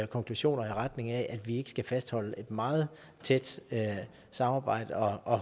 konklusioner i retning af at vi ikke skal fastholde et meget tæt samarbejde og